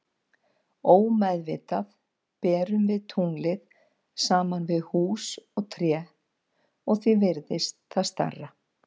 Ómeðvitað berum við tunglið saman við hús og tré og því virðist það stærra.